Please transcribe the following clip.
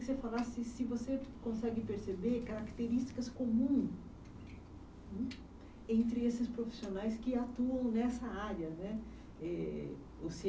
Queria que você falasse se você consegue perceber características comum entre esses profissionais que atuam nessa área né, eh